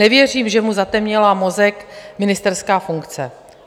Nevěřím, že mu zatemnila mozek ministerská funkce.